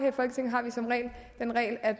at